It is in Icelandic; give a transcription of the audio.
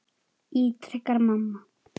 ítrekar mamma.